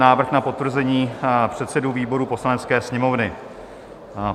Návrh na potvrzení předsedů výborů Poslanecké sněmovny